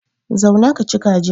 Zauna kaci kajin.